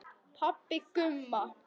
Pabbi Gumma!